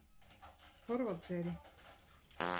Þorvaldseyri